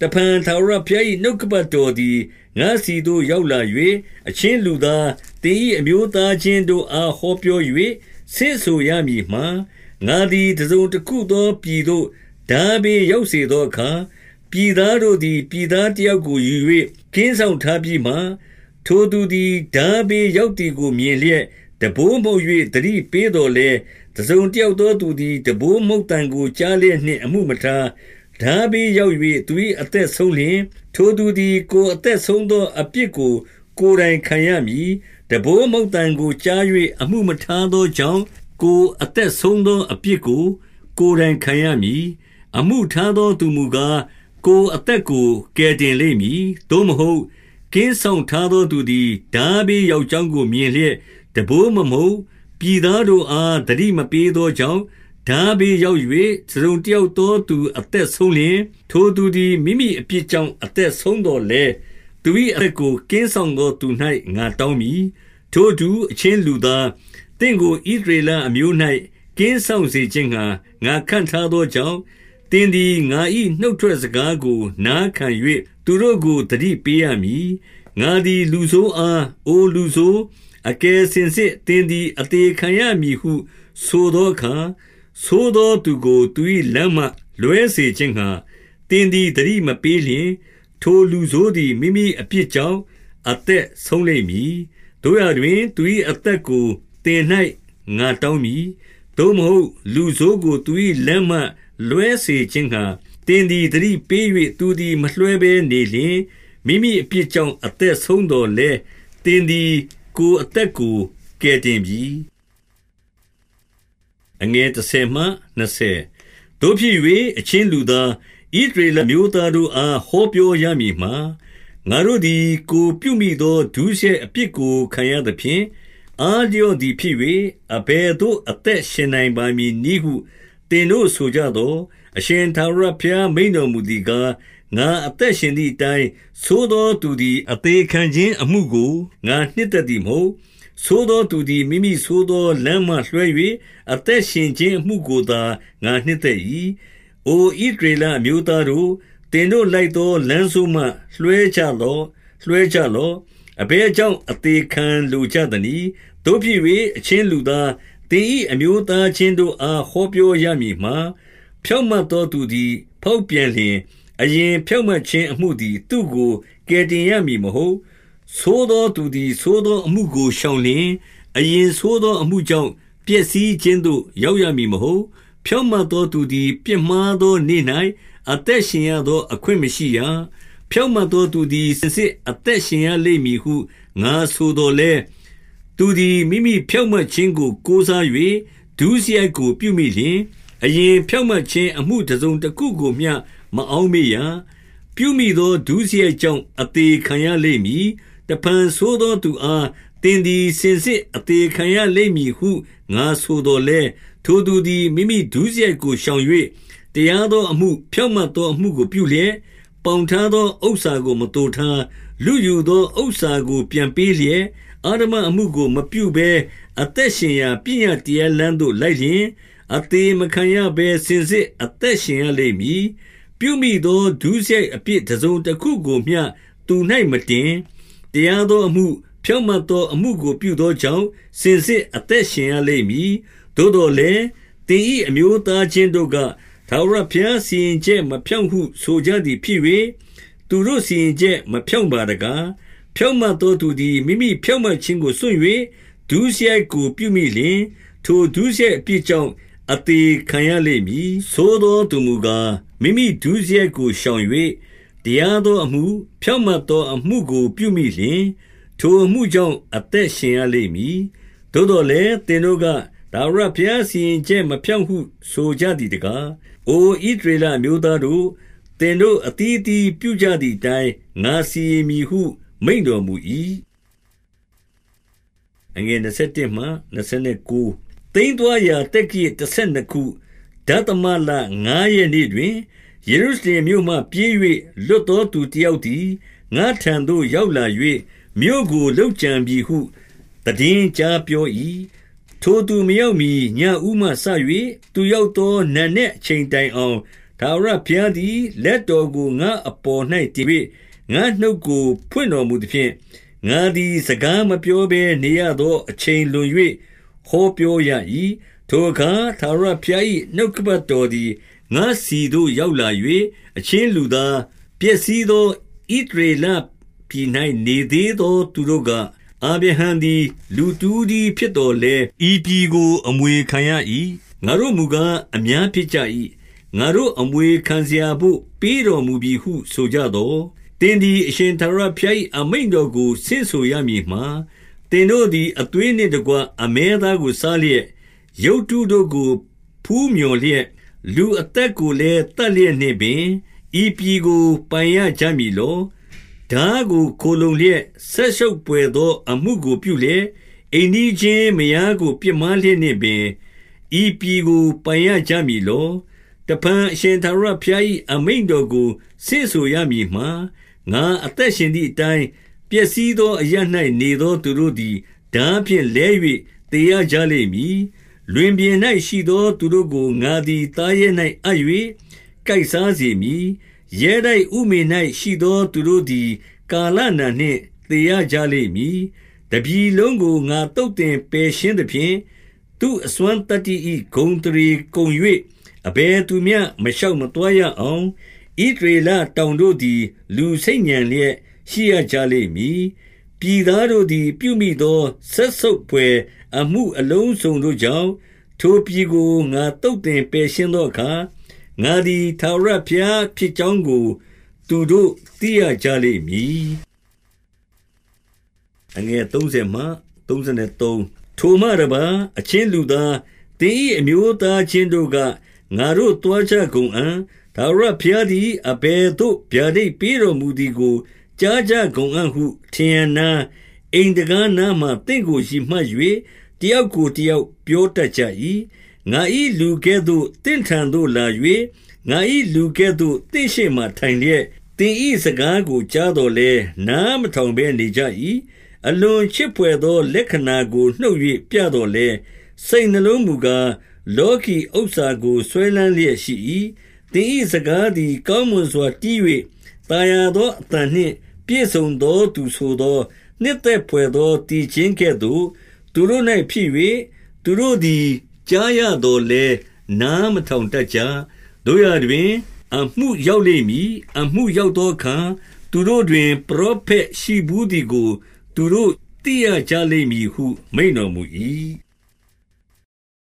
တဖန်ထာဝရဘုရား၏ နှုတ်ကပတ်တော်သည် ငါ့ဆီသို့ရောက် လာ၍၊ 2 အချင်းလူသား၊ သင်၏ အမျိုးသားအချင်းတို့ အား ဟော်ပြော၍ ဆင့်ဆိုရမည်မှား၊ ငါသည် တစုံတခု သောပြည်သို့ ထားဘေးရောက်စေသောအခါ၊ ပြည်သား တို့သည် ပြည်သားတယောက်ကို ယူ၍ ကင်းစောင့် ထားပြီးမှ၊ 3 ထိုသူသည် ထားဘေးရောက်သည်ကို မြင်လျက် တံပိုးမှုတ်၍ သတိပေးသော်လည်း၊ 4 တစုံတယောက်သောသူသည် တံပိုးမှုတ်သံကို ကြားလျက်နှင့် အမှုမထား၊ ထားဘေးရောက်၍ သူ၏ အသက်ဆုံးလျှင်၊ ထိုသူသည် ကိုယ်အသက်ဆုံးသော အပြစ်ကို ကိုယ်တိုင်ခံရမည်။ 5 တံပိုးမှုတ်သံကိုကြား၍ အမှုမထားသောကြောင့်၊ ကိုယ်အသက် ဆုံးသောအပြစ်ကို ကိုယ်တိုင်ခံရမည်။ အမှုထားသောသူမူကား၊ ကိုယ်အသက်ကို ကယ်တင် လိမ့်မည်။ 6 သို့မဟုတ် ကင်းစောင့်ထားသောသူသည် ထားဘေး ရောက်ကြောင်းကိုမြင်လျက် တံပိုးမမှုတ်၊ ပြည်သားတို့ အား အသိမပေးသောကြောင့် ထားဘေးရောက်၍ တစုံတယောက်သောသူ အသက်ဆုံးလျှင်၊ ထိုသူသည် မိမိအပြစ်ကြောင့် အသက်ဆုံးသော်လည်း၊ သူ၏အသက် ကို ကင်းစောင့်သောသူ၌ ငါတောင်းမည်။ 7 ထိုအတူ၊ အချင်းလူသား၊ သင့်ကိုဣသရေလ အမျိုး၌ ကင်းစောင့်စေခြင်းငှါ ငါခန့်ထားသောကြောင့်၊ သင်သည်ငါ၏ နှုတ်ထွက်စကားကို နာခံ၍ သူတို့ကို သတိပေးရမည်။ 8 ငါသည် လူဆိုးအား၊ အိုလူဆိုး၊ အကယ်စင်စစ် သင်သည် အသေခံရမည်ဟုဆိုသောအခါ ဆိုးသောသူကို သူ၏လမ်းမှ လွှဲစေခြင်းငှါ သင်သည် သတိမပေးလျှင်၊ ထိုလူဆိုးသည် မိမိအပြစ်ကြောင့် အသက်ဆုံးလိမ့်မည်။ သို့ရာတွင်၊ သူ၏အသက်ကိုသင်၌ ငါတောင်းမည်။ 9 သို့မဟုတ်။ လူဆိုးကိုသူ၏ လမ်းမှလွှဲစေခြင်းငှါ သင်သည် သတိပေး၍ သူသည်မလွှဲဘဲနေလျှင်၊ မိမိ အပြစ်ကြောင့် အသက်ဆုံးသော်လည်း၊ သင်သည် ကိုယ် အသက်ကို ကယ်တင်ပြီ။ 10 သို့ဖြစ်၍၊ အချင်းလူသား၊ ဣသရေလ အမျိုးသားတို့အား ဟောပြောရမည်မှား၊ ငါတို့သည် ကိုယ်ပြုမိသော ဒုစရိုက်အပြစ်ကို ခံရသဖြင့် အားလျော့ သည်ဖြစ်၍၊ အဘယ်သို့ အသက်ရှင်နိုင်ပါမည်နည်းဟု သင်တို့ဆိုကြသော်၊ 11 အရှင်ထာဝရဘုရား မိန့်တော်မူသည်ကား၊ ငါအသက်ရှင်သည်အတိုင်း၊ ဆိုးသောသူသည် အသေ ခံခြင်းအမှုကို ငါနှစ်သက်သည်မဟုတ်။ ဆိုးသောသူသည် မိမိဆိုသော လမ်းမှလွှဲ၍ အသက်ရှင်ခြင်းအမှုကိုသာ ငါနှစ်သက်၏။ အိုဣသရေလအမျိုးသားတို့၊ သင်တို့လိုက် သောလမ်းဆိုးမှ လွှဲကြလော့။ လွှဲကြလော့။ အဘယ် ကြောင့်အသေခံလိုကြသနည်း။ 12 သို့ဖြစ်၍၊ အချင်းလူသား၊ သင်၏အမျိုးသား ချင်းတို့အား ဟောပြောရမည်မှာ၊ ဖြောင့်မတ်သော သူသည် ဖေါက်ပြန်လျှင်၊ အရင်ဖြောင့်မတ်ခြင်း အမှုသည် သူ့ကို ကယ်တင်ရမည်မဟုတ်။ ဆိုးသောသူသည် ဆိုးသောအမှုကိုရှောင်လျှင်၊ အရင်ဆိုးသောအမှုကြောင့် ပျက်စီးခြင်းသို့ ရောက်ရမည်မဟုတ်။ ဖြောင့်မတ်သော သူသည်ပြစ်မှားသောနေ့၌ အသက်ရှင်ရသော အခွင့် မရှိရ။ 13 ဖြောင့်မတ်သောသူသည် စင်စစ်အသက်ရှင်ရ လိမ့်မည်ဟု ငါဆိုသော်လည်း၊ သူသည် မိမိဖြောင့်မတ် ခြင်းကို ကိုးစား၍ ဒုစရိုက်ကိုပြုမိလျှင်၊ အရင်ဖြောင့်မတ် ခြင်း အမှုတစုံတခုကိုမျှ မအောက်မေ့ရ။ ပြုမိသော ဒုစရိုက်ကြောင့် အသေခံရလိမ့်မည်။ 14 တဖန်ဆိုးသော သူအား သင်သည် စင်စစ် အသေခံရလိမ့်မည်ဟု ငါဆိုသော်လည်း၊ ထိုသူသည် မိမိဒုစရိုက်ကို ရှောင်၍၊ တရားသောအမှု၊ ဖြောင့်မတ် သောအမှုကို ပြုလျက်၊ 15 ပေါင်ထားသောဥစ္စာကို မသိုထား၊ လုယူသော ဥစ္စာကို ပြန်ပေးလျက်၊ အဓမ္မအမှုကို မပြုဘဲအသက် ရှင်ရာပညတ်တရားလမ်းသို့လိုက်လျှင်၊ အသေမခံရဘဲ စင်စစ်အသက်ရှင်ရလိမ့်မည်။ 16 ပြုမိသော ဒုစရိုက်အပြစ်တစုံတခုကိုမျှ သူ၌ မတင်။ တရားသောအမှု၊ ဖြောင့်မတ်သောအမှုကို ပြုသောကြောင့် စင်စစ်အသက်ရှင်ရလိမ့်မည်။ 17 သို့သော်လည်း၊ သင်၏အမျိုးသားချင်းတို့က၊ ထာဝရဘုရား စီရင်ချက်မဖြောင့်ဟု ဆိုကြသည်ဖြစ်၍၊ သူတို့စီရင်ချက်မဖြောင့်ပါတကား။ 18 ဖြောင့်မတ်သောသူသည် မိမိဖြောင့်မတ်ခြင်းကို စွန့်၍ ဒုစရိုက်ကိုပြုမိလျှင်၊ ထိုဒုစရိုက်အပြစ်ကြောင့် အသေခံရလိမ့်မည်။ 19 ဆိုးသောသူမူကား၊ မိမိဒုစရိုက်ကိုရှောင်၍ တရားသောအမှု၊ ဖြောင့်မတ်သောအမှုကို ပြုလျှင်၊ ထိုအမှုကြောင့် အသက်ရှင်ရလိမ့်မည်။ 20 သို့သော်လည်း၊ သင်တို့က၊ ထာဝရဘုရား စီရင် ချက်မဖြောင့်ဟု ဆိုကြသည်တကား။ အိုဣသရေလ အမျိုးသားတို့၊ သင်တို့ အသီးသီးပြုကြသည်အတိုင်း ငါစီရင်မည်ဟုမိန့်တော်မူ၏။ 21 သိမ်းသွားရာ သက္ကရာဇ်တဆယ်နှစ်ခု၊ ဒသမလ ငါးရက်နေ့တွင်၊ ယေရုရှလင်မြို့မှ ပြေး၍လွတ်သော သူတယောက်သည် ငါ့ထံသို့ရောက်လာ၍၊ မြို့ကိုလုပ်ကြံပြီ ဟု သိတင်းကြားပြော၏။ 22 ထိုသူမရောက်မှီ ညဦးမှစ၍ သူရောက်သော နံနက်အချိန်တိုင်အောင်၊ ထာဝရဘုရားသည် လက်တော် ကို ငါ့အပေါ်၌တင်၍ ငါ့နှုတ်ကိုဖွင့်တော်မူသဖြင့်၊ ငါသည် စကားမပြောဘဲနေရသော အချိန်လွန်၍ ဟောပြောရ၏။ 23 ထိုအခါ ထာဝရဘုရား၏ နှုတ်ကပတ်တော် သည် ငါ့ဆီသို့ ရောက်လာ၍၊ 24 အချင်းလူသား၊ ပျက်စီးသော ဣသရေလပြည်၌ နေသေးသော သူတို့က၊ အာဗြဟံသည် လူတဦးတည်း ဖြစ်သော်လည်း ဤပြည်ကို အမွေခံရ၏။ ငါတို့မူကား အများဖြစ်ကြ၏။ ငါတို့အမွေခံရာဘို့ ပေးတော်မူပြီဟု ဆိုကြသော်၊ 25 သင်သည် ထာဝရဘုရား၏အမိန့်တော်ကို ဆင့်ဆိုရမည်မှာ၊ သင်တို့သည် သွေးနှင့်တကွ အမဲသားကို စားလျက်၊ ရုပ်တုတို့ကို ဖူးမြော်လျက်၊ လူအသက်ကိုလည်း သက်လျက်နှင့်ပင်၊ ဤပြည်ကို ပိုင်ရကြမည်လော။ 26 ထားကို ခိုလှုံလျက်၊ စက်ဆုပ်ဘွယ်သော အမှုကို ပြုလျက်၊ အိမ်နီးချင်းမယားကို ပြစ်မှားလျက်နှင့်ပင်၊ ဤပြည်ကို ပိုင်ရကြမည်လော။ 27 တဖန်အရှင်ထာဝရဘုရား၏ အမိန့်တော်ကို ဆင့်ဆိုရမည်မှာ၊ ငါအသက်ရှင်သည်အတိုင်း၊ ပျက်စီး သော အရပ်၌နေသော သူတို့သည် ထားဖြင့် လဲ၍ သေရ ကြလိမ့်မည်။ လွင်ပြင်၌ရှိသော သူတို့ကို ငါသည်သားရဲ ၌အပ်၍ ကိုက်စားစေမည်။ ရဲတိုက်ဥမင်၌ရှိသော သူတို့ သည် ကာလနာနှင့် သေရကြလိမ့်မည်။ 28 တပြည်လုံးကို ငါသုတ်သင်ပယ်ရှင်းသဖြင့်၊ သူ့အစွမ်းသတ္တိ၏ ဂုဏ်အသရေကုန်၍၊ အဘယ်သူမျှ မရှောက်မသွားရေအောင်၊ ဣသရေလတောင်တို့သည် လူဆိတ်ညံလျက် ရှိရကြလိမ့်မည်။ 29 ပြည်သားတို့သည် ပြုမိသောစက်ဆုပ်ဘွယ် အမှုအလုံးစုံတို့ကြောင့်၊ ထိုပြည်ကို ငါသုတ်သင်ပယ်ရှင်း သောအခါ၊ ငါသည်ထာဝရဘုရားဖြစ်ကြောင်း သူတို့ သိရကြလိမ့်မည်။ 30 ထိုမှတပါး၊ အချင်းလူသား၊ သင်၏အမျိုးသား ချင်းတို့က၊ ငါတို့သွားကြကုန်အံ့။ ထာဝရဘုရားသည် အဘယ်သို့ဗျာဒိတ်ပေးတော်မူသည်ကို ကြာကြကုန်အံ့ဟု၊ ထရံနား၊ အိမ်တံခါးနားမှာ သင့်ကိုရည်မှတ်၍ တယောက် ကိုတယောက် ပြောတတ်ကြ၏။ 31 ငါ၏လူကဲ့သို့ သင့်ထံသို့လာ၍၊ ငါ၏လူကဲ့သို့ သင့်ရှေ့မှာထိုင်လျက်၊ သင်၏စကားကိုကြာသော်လည်း၊ နားမထောင်ဘဲနေကြ၏။ အလွန်ချစ်ဘွယ်သော လက္ခဏာကို နှုန်နှင့်ပြသော်လည်း၊ စိတ်နှလုံးမူကား လောကီ ဥစ္စာကိုစွဲလမ်းလျက်ရှိ၏။ 32 သင်၏စကားသည်၊ ကောင်းမွန်စွာတီး၍ သာယာသောအသံနှင့် ပြည့်စုံသောသူဆိုသော၊ နှစ်သက် ဘွယ်သော သီချင်းကဲ့သို့ သူတို့၌ဖြစ်၍၊ သူတို့သည် ကြားရ သော်လည်း နားမထောင်တတ်ကြ။ 33 သို့ရာတွင်၊ အမှုရောက်လိမ့်မည်။ အမှုရောက် သောအခါ သူတို့တွင် ပရောဖက်ရှိဘူးသည်ကို သူတို့ သိရကြလိမ့်မည်ဟု မိန့်တော်မူ၏။